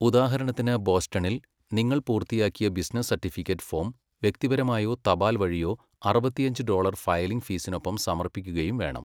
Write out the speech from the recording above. ഉദാഹരണത്തിന് ബോസ്റ്റണിൽ, നിങ്ങൾ പൂർത്തിയാക്കിയ ബിസിനസ് സർട്ടിഫിക്കറ്റ് ഫോം വ്യക്തിപരമായോ തപാൽ വഴിയോ അറുപത്തിയഞ്ച് ഡോളർ ഫയലിംഗ് ഫീസിനൊപ്പം സമർപ്പിക്കുകയും വേണം.